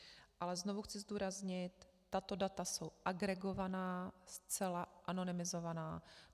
Ale znovu chci zdůraznit, tato data jsou agregovaná, zcela anonymizovaná.